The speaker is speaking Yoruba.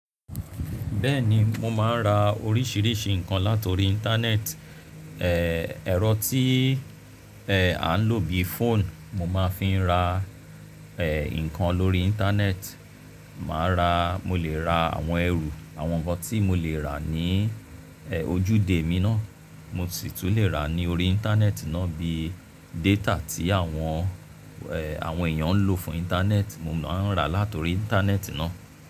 Bẹ́ẹ̀ni, mo máa ń ra oríṣiríṣi nǹkan látori Íńtánẹ́ẹ̀tì. Ẹ̀rọ tí à ń lò bí fóònù, mo máa ń fi ra nǹkan lórí Íńtánẹ́ẹ̀tì. Mo lè ra àwọn ẹrù, àwọn nǹkan tí mo lè rà ní ojúde mi náà mo sì tún lè rà ní orí Íńtánẹ́ẹ̀tì náà bíi déétà tí àwọn èèyàn ń lò fún Íńtánẹ́ẹ̀tì, mo máa ń rà látori Íńtánẹ́ẹ̀tì náà.